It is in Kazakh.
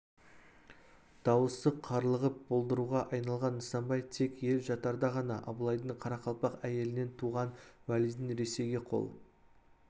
дауысы қарлығып болдыруға айналған нысанбай тек ел жатарда ғана абылайдың қарақалпақ әйелінен туған уәлидің ресейге қол